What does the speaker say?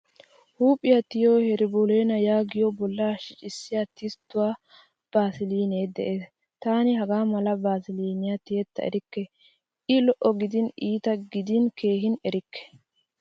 Huuphphiyaa tiyiyo herbolena yaagiyo bolla shiccisiya tistuwaa basiline de'ees. Taani hagaamala vasiliniya tiyetta erikke. I lo'o gidin, iitta gidin keehin erikke.